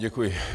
Děkuji.